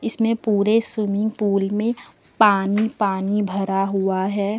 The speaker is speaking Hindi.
इसमें पूरे स्विमिंग पूल में पानी पानी भरा हुआ है।